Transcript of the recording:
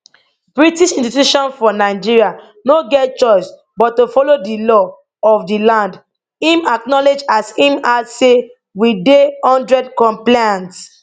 british institutions for nigeria no get choice but to follow di law of di land im acknowledge as im add say we dey one hundred compliant